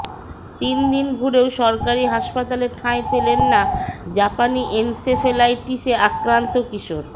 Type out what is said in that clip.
তিন দিন ঘুরেও সরকারি হাসপাতালে ঠাঁই পেলেন না জাপানি এনসেফ্যালাইটিসে আক্রান্ত কিশোর